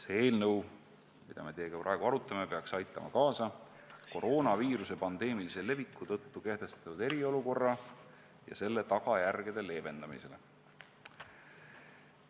See eelnõu, mida me teiega praegu arutame, peaks aitama kaasa koroonaviiruse pandeemilise leviku tõttu kehtestatud eriolukorra ja selle tagajärgede leevendamisele.